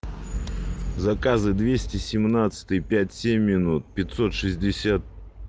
заказы двести семнадцатый пять семь минут пятьсот шестьдесят